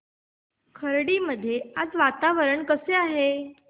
खर्डी मध्ये आज वातावरण कसे आहे